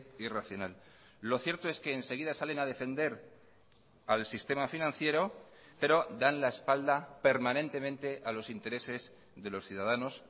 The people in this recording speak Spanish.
irracional lo cierto es que enseguida salen a defender al sistema financiero pero dan la espalda permanentemente a los intereses de los ciudadanos